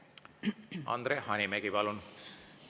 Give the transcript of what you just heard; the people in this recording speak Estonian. Andre Hanimägi, palun!